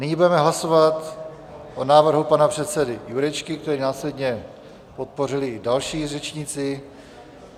Nyní budeme hlasovat o návrhu pana předsedy Jurečky, který následně podpořili i další řečníci.